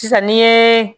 Sisan ni ye